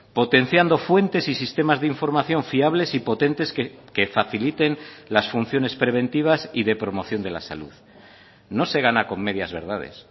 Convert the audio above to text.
potenciando fuentes y sistemas de información fiables y potentes que faciliten las funciones preventivas y de promoción de la salud no se gana con medias verdades